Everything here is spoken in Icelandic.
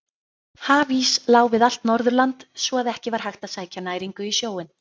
Hafís lá við allt Norðurland svo að ekki var hægt að sækja næringu í sjóinn.